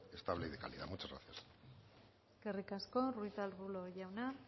estable y de calidad muchas gracias eskerrik asko ruiz de arbulo jauna